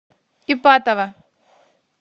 ипатово